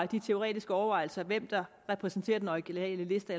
de teoretiske overvejelser over hvem der repræsenterer den originale liste